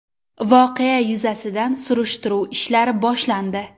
Voqea yuzasidan surishtiruv ishlari boshlandi.